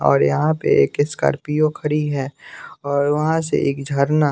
और यहाँ पे एक स्कॉर्पियो खरी है और वहाँ से एक झरना --